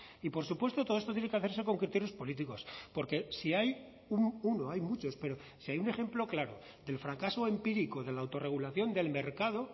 y por supuesto todo esto tiene que hacerse con criterios políticos porque si hay uno hay muchos pero si hay un ejemplo claro del fracaso empírico de la autorregulación del mercado